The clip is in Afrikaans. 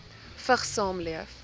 vigs saamleef